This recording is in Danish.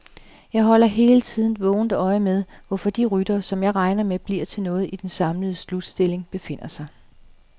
Jeg holder hele tiden vågent øje med, hvor de ryttere, som jeg regner med bliver noget i den samlede slutstilling, befinder sig.